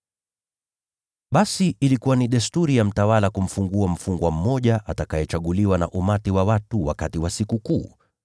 Basi ilikuwa ni desturi ya mtawala kumfungua mfungwa mmoja aliyechaguliwa na umati wa watu wakati wa sikukuu.